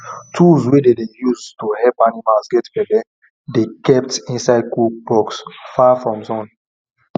tools wey dem dey use to help animals get belle dey kept inside cool box far from sun